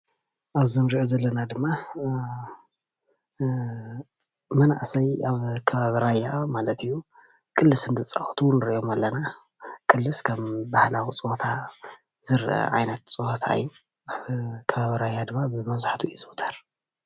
ኣብ እዚ እንሪኦ ዘለና ድማ መናእሰይ ኣብ ከባቢ ራያ ማለት እዩ ቅልስ እንትፃወቱ ንሪኦም ኣለና፡፡ ቅልስ ከም ባህላዊ ፀወታ ዝረአ ዓይነት ፀወታ እዩ፡፡ ኣብ ከባቢ ራያ ድማ መብዛሕትኡ ይዝውተር፡፡